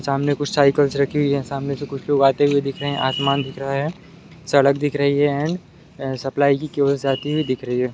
सामने कुछ साइकिलस रखी हुई है सामने से कुछ लोग आते हुए दिख रहे हैं आसमान दिख रहा है सड़क दिख रहा है एंड सप्लाई की जाते हुए दिख रही है।